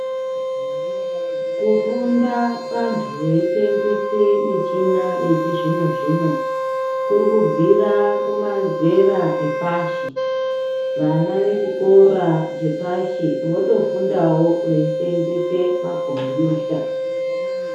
Kufunda vantu veyisenzese michina yechizvinozvino, kurukubvira kumazera epashi. Vana vechikora chepashi votofundawo veyisenzese makhompiyuta.